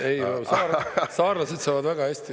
Ei, saarlased saavad väga hästi …